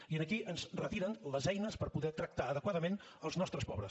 i aquí ens retiren les eines per poder tractar adequadament els nostres pobres